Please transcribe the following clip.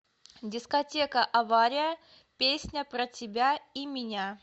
дискотека авария песня про тебя и меня